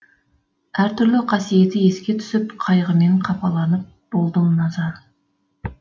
әр түрлі қасиеті еске түсіп қайғымен қапаланып болдым наза